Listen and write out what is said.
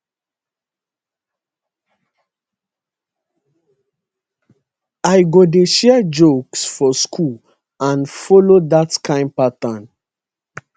i go dey share jokes for school and follow dat kain pattern